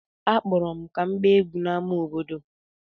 Akpọrọ m ka m gbaa egwú n’ámá obodo.